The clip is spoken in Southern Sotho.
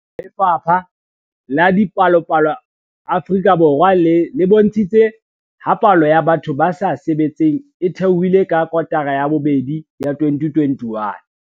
Lefapha la Dipalopalo Afrika Borwa le bontshitse ha palo ya batho ba sa sebetseng e theohile ka kotara ya bobedi ya 2021.